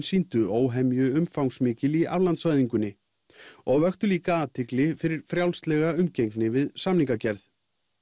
sýndu óhemju umfangsmikil í og vöktu líka athygli fyrir frjálslega umgengni við samningagerð